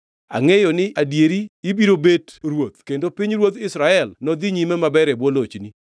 Angʼeyo ni adieri ibiro bet ruoth kendo pinyruodh Israel nodhi nyime maber e bwo lochni.